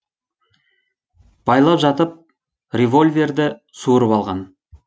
байлап жатып револьверді суырып алған